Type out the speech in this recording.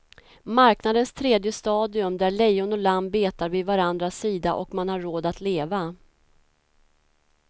Marknadens tredje stadium, där lejon och lamm betar vid varandras sida och man har råd att leva.